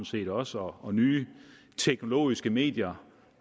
set også og nye teknologiske medier